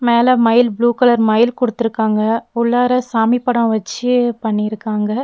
மேல மயில் blue colour மயில் குடுத்துருக்காங்க உள்ளார சாமி படோ வச்சு பண்ணிருக்காங்க.